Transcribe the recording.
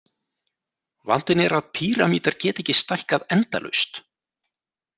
Vandinn er að píramídar geta ekki stækkað endalaust.